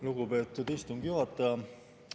Lugupeetud istungi juhataja!